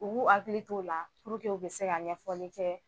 U b'u hakili t'o la purke u bɛ se ka ɲɛfɔni kɛ.